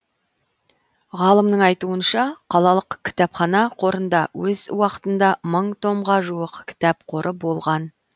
ғалымның айтуынша қалалық кітапхана қорында өз уақытында мың томға жуық кітап қоры болған